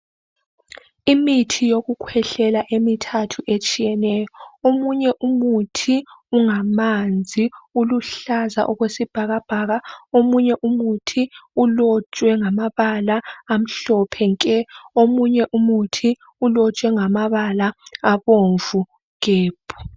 Imithi yokukhwehlela emithathu etshiyeneyo omunye umuthi ungamanzi uluhlaza okwesibhakabhaka omunye umuthi ulotshwe ngamabala amhlophe nke omunye umuthi ulotshwe ngamabala abomvu gebhu.